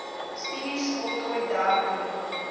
studies voltooi dertien